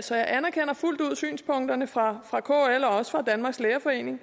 så jeg anerkender fuldt ud synspunkterne fra fra kl og også fra danmarks lærerforening